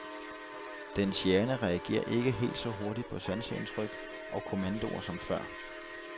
Dens hjerne reagerer ikke helt så hurtigt på sanseindtryk og kommandoer som før.